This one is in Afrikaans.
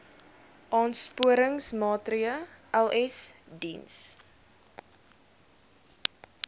aansporingsmaatre ls diens